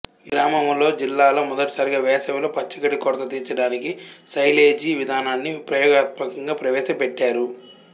ఈ గ్రామములో జిల్లాలో మొదటిసారిగా వేసవిలో పచ్చగడ్డి కొరత తీర్చడానికి సైలేజీ విధానాన్ని ప్రయోగాత్మకంగా ప్రవేశ పెట్టారు